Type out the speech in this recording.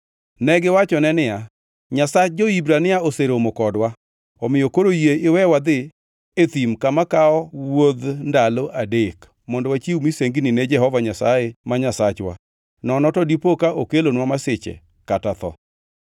Negiwachone niya, “Nyasach jo-Hibrania oseromo kodwa. Omiyo koro yie iwe wadhi e thim kama kawo e wuodh ndalo adek mondo wachiw misengini ne Jehova Nyasaye ma Nyasachwa, nono to dipo ka okelonwa masiche kata tho.”